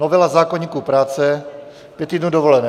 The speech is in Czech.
Novela zákoníku práce - pět týdnů dovolené.